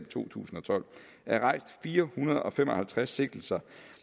to tusind og tolv er rejst fire hundrede og fem og halvtreds sigtelser